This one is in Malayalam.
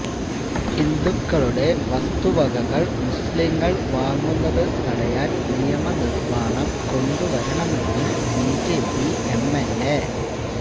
ഹിന്ദുക്കളുടെ വസ്തുവകകള് മുസ്ലിങ്ങള് വാങ്ങുന്നത് തടയാന് നിയമനിര്മാണം കൊണ്ടുവരണമെന്ന് ബിജെപി എംഎല്എ